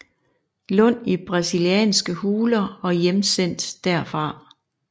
Lund i brasilianske huler og hjemsendt derfra